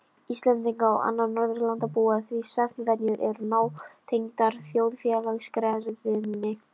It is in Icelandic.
Íslendinga og annarra Norðurlandabúa því svefnvenjur eru nátengdar þjóðfélagsgerðinni.